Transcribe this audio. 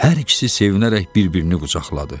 Hər ikisi sevinərək bir-birini qucaqladı.